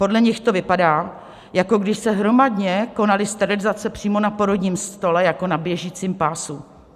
Podle nich to vypadá, jako když se hromadně konaly sterilizace přímo na porodním stole jako na běžícím pásu.